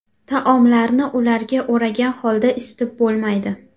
Taomlarni ularga o‘ragan holda isitib bo‘lmaydi.